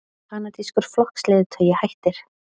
Kanadískur flokksleiðtogi hættir